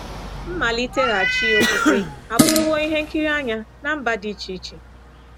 Mmalitaghachi okpukpe abụrụwo ihe nkiri anya ná mba dị iche-iche.